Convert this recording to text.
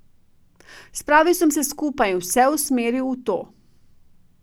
Spravil sem se skupaj in vse usmeril v to.